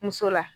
Muso la